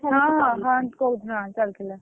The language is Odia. ହଁ ହଁ ତୁ କହୁଥିଲୁ ତୁ କହୁଥିଲୁ।